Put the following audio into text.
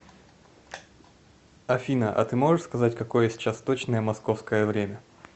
афина а ты можешь сказать какое сейчас точное московское время